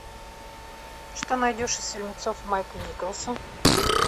что найдешь из фильмецов майка николса